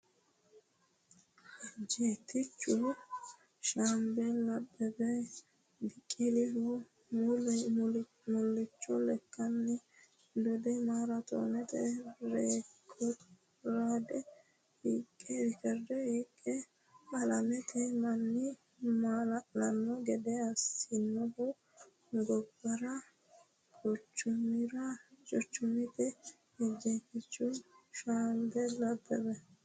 Ejjeettichu shaambeli Abbebe Biqilihu mullicho lekkanni dode maaraatoonete reekoorde hiiqqe alamete manni maala’lanno gede assinohu gobbara quchumiraati Ejjeettichu shaambeli Abbebe.